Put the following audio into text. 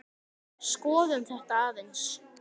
Skoðum þetta aðeins.